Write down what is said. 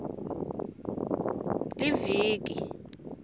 liviki